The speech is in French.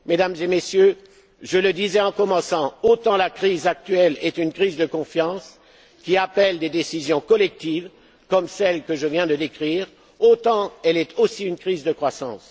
Mesdames et Messieurs, je le disais en commençant autant la crise actuelle est une crise de confiance, qui appelle des décisions collectives, comme celles que je viens de décrire, autant elle est aussi une crise de croissance.